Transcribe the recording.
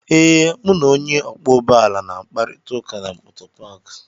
ee, m na Onye okwo ụgbọ ala na-akparịta ụka na moto paakị